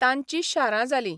तांचीं शारां जालीं.